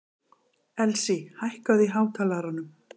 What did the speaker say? Elsí, hækkaðu í hátalaranum.